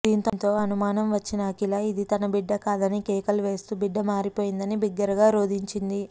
దీంతో అనుమానం వచ్చిన అఖిల ఇది తన బిడ్డ కాదని కేకలు వేస్తూ బిడ్డ మారిపోయిందని బిగ్గరగా రోదించింది